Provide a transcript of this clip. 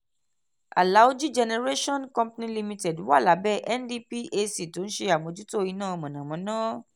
alaoji generation company limited wà lábẹ́ ndphc tó ń ṣe àmójútó iná mọ̀nàmọ́ná.